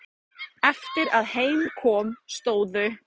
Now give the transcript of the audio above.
Eftir að heim kom stóðu